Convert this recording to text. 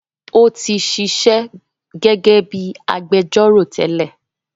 Ó tí sisẹ́ gẹ́gẹ́ bíi agbẹjọ́rọ̀ tẹ́lẹ̀